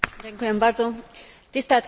Tisztelt képviselőtársaim!